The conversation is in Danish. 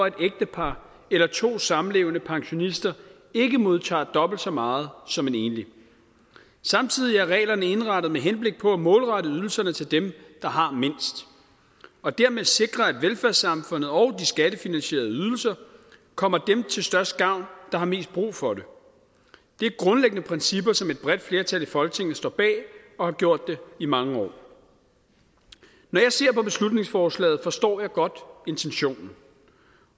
et ægtepar eller to samlevende pensionister ikke modtager dobbelt så meget som en enlig samtidig er reglerne indrettet med henblik på at målrette ydelserne til dem der har mindst og dermed sikre at velfærdssamfundet og de skattefinansierede ydelser kommer dem til størst gavn der har mest brug for det det er grundlæggende principper som et bredt flertal i folketinget står bag og har gjort det i mange år når jeg ser på beslutningsforslaget forstår jeg godt intentionen